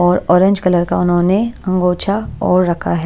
और orange colour का उन्होंने अंगोछा ओढ़ रखा है।